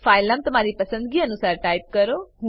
file નામ તમારી પસંદ અનુસાર ટાઈપ કરો